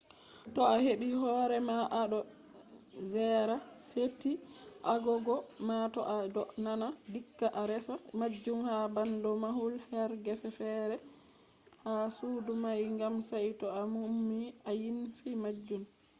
to a hebi hore ma a do gera seti agogo ma to a do dana dikka a resa majun ha bando mahul her gefe fere ha sudo mai gam sai to a ummi a ynfi majun